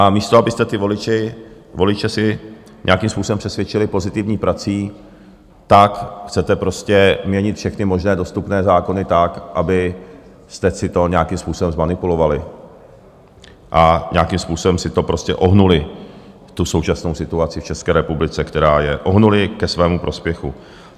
A místo abyste ty voliče si nějakým způsobem přesvědčili pozitivní prací, tak chcete prostě měnit všechny možné dostupné zákony tak, abyste si to nějakým způsobem zmanipulovali a nějakým způsobem si to prostě ohnuli, tu současnou situaci v České republice, která je, ohnuli ke svému prospěchu.